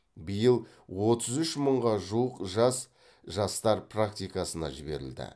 биыл отыз үш мыңға жуық жас жастар практикасына жіберілді